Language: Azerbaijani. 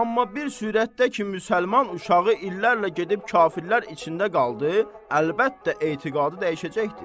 Amma bir sürətdə ki, müsəlman uşağı illərlə gedib kafirlər içində qaldı, əlbəttə etiqadı dəyişəcəkdir.